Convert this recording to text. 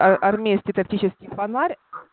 армейский тактический фонарь